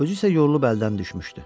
Özü isə yorulub əldən düşmüşdü.